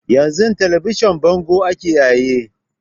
Yan zun talabijin bango ake yayi